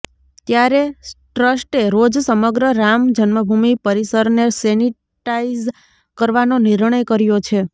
ત્યારે ટ્રસ્ટે રોજ સમગ્ર રામ જન્મભૂમિ પરિસરને સેનિટાઈઝ કરવાનો નિર્ણય કર્યો છે